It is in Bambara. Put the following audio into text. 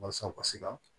Walasa u ka se ka